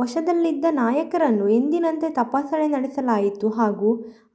ವಶದಲ್ಲಿದ್ದ ನಾಯಕರನ್ನು ಎಂದಿನಂತೆ ತಪಾಸಣೆ ನಡೆಸಲಾಯಿತು ಹಾಗೂ